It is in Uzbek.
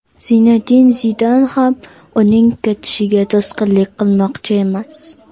Zinedin Zidan ham uning ketishiga to‘sqinlik qilmoqchi emas.